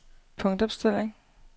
punktopstilling